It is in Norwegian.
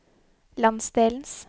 landsdelens